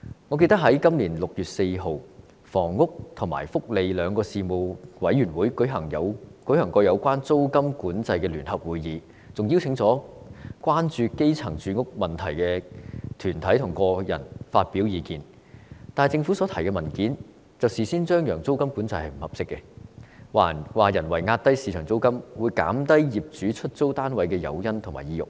我記得在今年6月4日，房屋及福利兩個事務委員會曾舉行有關租金管制的聯合會議，並邀請關注基層住屋問題的團體和個人發表意見，但政府所提交的文件卻事先張揚，指租金管制並非合適的做法，因為人為壓低市場租金，會減低業主出租單位的誘因和意欲。